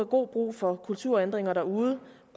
god brug for kulturændringer derude